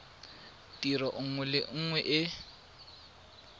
tiro nngwe le nngwe e